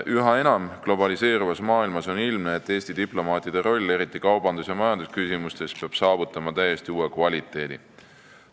Üha enam globaliseeruvas maailmas on ilmne, et Eesti diplomaatide roll, eriti kaubandus- ja majandusküsimustes peab saavutama täiesti uue kvaliteedi.